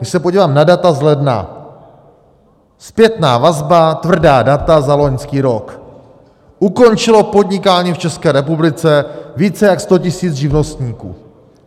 Když se podívám na data z ledna, zpětná vazba, tvrdá data za loňský rok, ukončilo podnikání v České republice více jak 100 000 živnostníků.